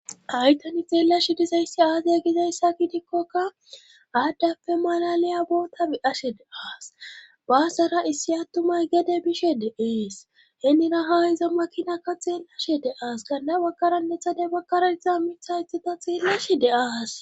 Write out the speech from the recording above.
Hay tani xeellashi dizayssi aazee gizayssa gidikkoka aaddappe malaliya bootabi ashe deaas baasara issi attumay gede bishe de7ees henira ha izo makinaka xeenlashe deaas ganda wakaranethade bakaraetza mithayethata xeellashi deas